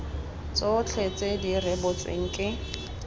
tsotlhe tse di rebotsweng ke